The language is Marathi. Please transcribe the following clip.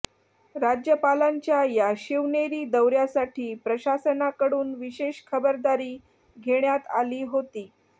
राज्यपालांच्या या शिवनेरी दौऱ्यासाठी प्रशासनाकडून विशेष खबरदारी घेण्यात आली होती